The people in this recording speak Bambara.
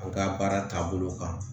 A ka baara taabolo kan